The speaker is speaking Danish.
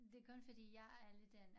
Det kun fordi jeg er lidt en